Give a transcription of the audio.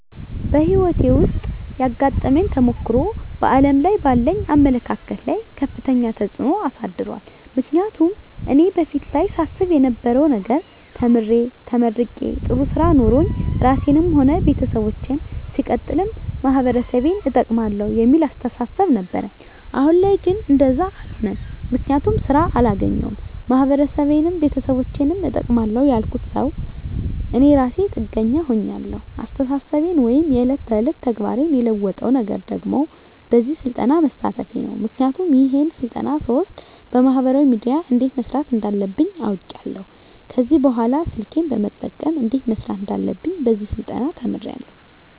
በህይወቴ ዉስጥ ያጋጠመኝ ተሞክሮ በዓለም ላይ ባለኝ አመለካከት ላይ ከፍተኛ ተጽዕኖ አሳድሯል ምክንያቱም እኔ በፊት ላይ ሳስብ የነበረዉ ነገር ተምሬ ተመርቄ ጥሩ ስራ ኖሮኝ ራሴንም ሆነ ቤተሰቦቸን ሲቀጥልም ማህበረሰቤን እጠቅማለዉ የሚል አስተሳሰብ ነበረኝ አሁን ላይ ግን እንደዛ አሎነም ምክንያቱም ስራ አላገኘዉም ማህበረሰቤንም ቤተሰቦቸንም እጠቅማለዉ ያልኩት ሰዉ እኔ እራሴ ጥገኛ ሁኛለዉ አስተሳሰቤን ወይም የዕለት ተዕለት ተግባሬን የለወጠዉ ነገር ደግሞ በዚህ ስልጠና መሳተፌ ነዉ ምክንያቱም ይሄን ስልጠና ስወስድ በማህበራዊ ሚድያ እንዴት መስራት እንዳለብኝ አዉቄያለዉ ከዚህ በኅላ ስልኬን በመጠቀም እንዴት መስራት እንዳለብኝ በዚህ ስልጠና ተምሬያለዉ